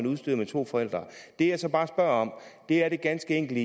udstyret med to forældre det jeg så bare spørger om er det ganske enkle